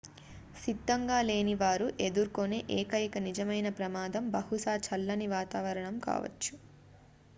సిద్ధంగా లేని వారు ఎదుర్కొనే ఏకైక నిజమైన ప్రమాదం బహుశా చల్లని వాతావరణం కావచ్చు